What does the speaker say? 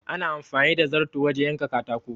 Ana amfani da zarto wajen yanka katako.